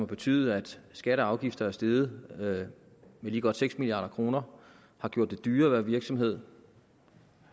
betydet at skatter og afgifter er steget med lige godt seks milliard kr har gjort det dyrere at være virksomhed